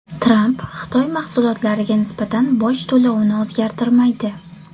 Tramp Xitoy mahsulotlariga nisbatan boj to‘lovini o‘zgartirmaydi.